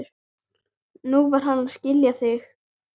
Nú var hann að skila því.